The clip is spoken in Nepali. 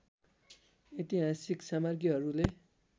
ऐतिहासिक सामग्रीहरूले